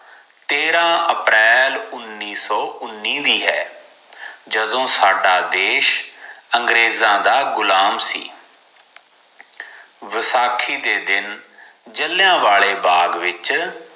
ਤੇਰਾ ਅਪ੍ਰੈਲ ਉੱਨੀ ਸੋ ਉੱਨੀ ਵੀ ਹੈ ਜਦੋ ਸਦਾ ਦੇਸ਼ ਅੰਗਰੇਜ਼ ਦਾ ਗੁਲਾਮ ਸੀ ਵਸਾਖੀ ਦੇ ਦਿਨ ਜਲਿਆਂਵਾਲੇ ਬਾਗ਼ ਦੇ ਵਿਚ